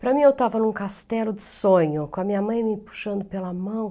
Para mim, eu estava em um castelo de sonho, com a minha mãe me puxando pela mão.